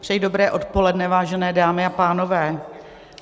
Přeji dobré odpoledne, vážené dámy a pánové.